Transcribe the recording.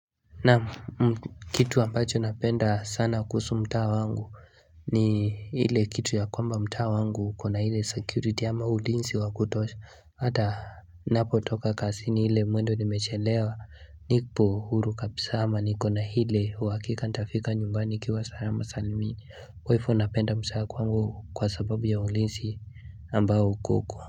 Naam kitu ambacho napenda sana kuhusu mtaa wangu ni ile kitu ya kwamba mtaa wangu iko na ile security ama ulinzi wa kutosha Hata ninapotoka kazini ile mwendo nimechelewa nipo huru kabisa ama niko na ile uhakika nitafika nyumbani nikiwa salama salmini kwa hivo napenda mtaa wa kwangu kwa sababu ya ulinzi ambao uko huko.